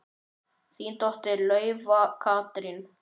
Þín dóttir, Laufey Katrín.